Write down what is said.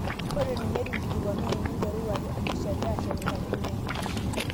Ore ninye eitu inkilikuanunu ninteruru are impishai ashet enkatini inyi